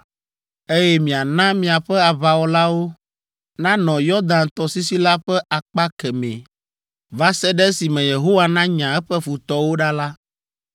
eye miana miaƒe aʋawɔlawo nanɔ Yɔdan tɔsisi la ƒe akpa kemɛ va se ɖe esime Yehowa nanya eƒe futɔwo ɖa la,